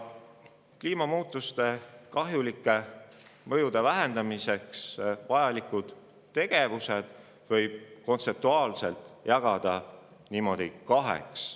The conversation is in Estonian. Kliimamuutuste kahjulike mõjude vähendamiseks vajalikud tegevused võib kontseptuaalselt jagada kaheks.